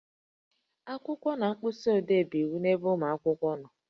Akwụkwọ na mkpịsị odee bụ iwu n'ebe ụmụ akwụkwọ nọ